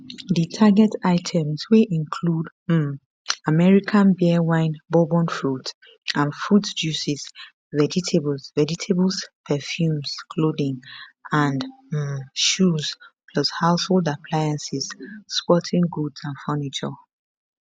di target items wey include um american beer wine bourbon fruits and fruit juices vegetables vegetables perfumes clothing and um shoes plus household appliances sporting goods and furniture